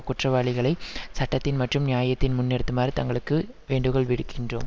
குற்றவாளிகளை சட்டத்தின் மற்றும் நியாயத்தின் முன் நிறுத்துமாறு தங்களுக்கு வேண்டுகோள் விடுக்கின்றோம்